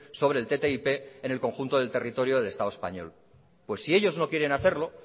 sobre el ttip en el conjunto del territorio del estado español pues si ellos no quieren hacerlo